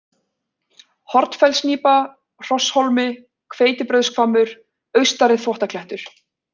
Hornfellsnípa, Hrosshólmi, Hveitibrauðshvammur, Austari-Þvottaklettur